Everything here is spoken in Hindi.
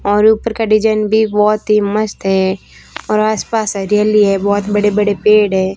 और ऊपर का डिजाइन भी बहोत ही मस्त है और आस पास हरियाली है बहोत बड़े बड़े पेड़ हैं।